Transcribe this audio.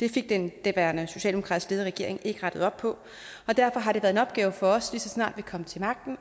det fik den daværende socialdemokratisk ledede regering ikke rettet op på og derfor har det været en opgave for os lige så snart vi kom til magten